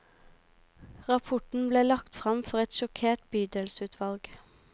Rapporten ble lagt frem for et sjokkert bydelsutvalg.